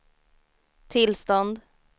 tillstånd